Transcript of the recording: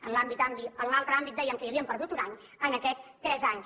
en l’altre àmbit dèiem que hi havíem perdut un any en aquest tres anys